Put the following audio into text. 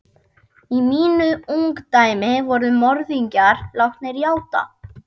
Í mínu ungdæmi voru morðingjar látnir játa.